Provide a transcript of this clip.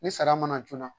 Ni sara mana joona